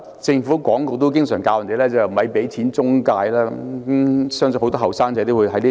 政府廣告也經常教我們別給錢中介，相信很多青年人也認同這一點。